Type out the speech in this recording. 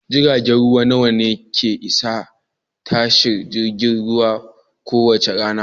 Jiragen ruwa nawa ne ke isa tashar jiragen ruwa kowace rana?